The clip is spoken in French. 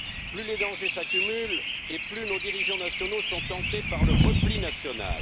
Plus les dangers s'accumulent et plus nos dirigeants nationaux sont tentés par le repli national.